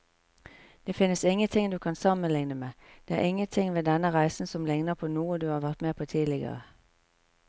Det finnes ingenting du kan sammenligne med, det er ingenting ved denne reisen som ligner på noe du har vært med på tidligere.